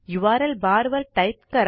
URL barवर type करा